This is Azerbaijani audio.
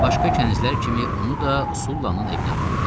Başqa kənizlər kimi onu da Sullanın evinə apardı.